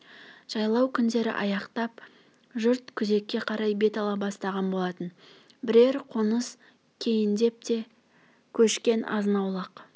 жайлау күндері аяқтап жұрт күзекке қарай бет ала бастаған болатын бірер қоныс кейіндеп те көшкен азнаулақ